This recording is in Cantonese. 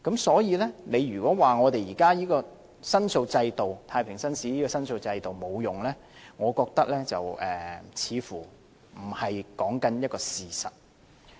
所以，如果說現有向太平紳士申訴的制度沒有用，我覺得似乎不是一個事實。